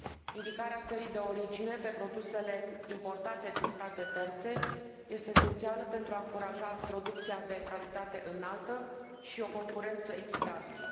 Indicarea țării de origine pe produsele importate din state terțe este esențială pentru a încuraja producția de calitate înaltă și o concurență echitabilă.